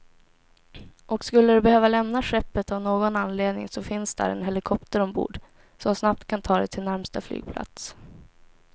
Och skulle du behöva lämna skeppet av någon anledning så finns där en helikopter ombord, som snabbt kan ta dig till närmsta flygplats.